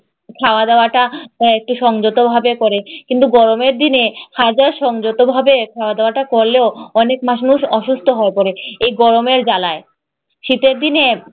খাওয়া-দাওয়াটা একটু সংযতভাবে করে। কিন্তু গরমের দিনে হাজার সংযতভাবে খাওয়া-দাওয়াটা করলেও অনেক মানুষ অসুস্থ হয়ে পড়ে এই গরমের জ্বালায়। শীতের দিনে